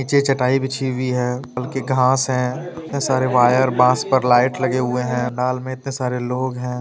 नीचे चटाई बिछी हुई है बल्कि घांस है इतने सारे वायर बांस पे लाइट लगे हुवे है नाल में इतने सारे लोग है।